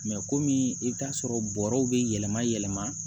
kɔmi i bi t'a sɔrɔ bɔrɔw be yɛlɛma yɛlɛma